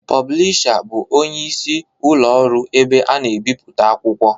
Pụblịsha bụ ọnyeisi ụlo ọru ebe ana-ebiputa akwụkwọ